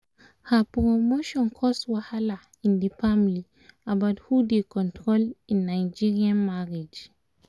she dey price for market while he go wait with the children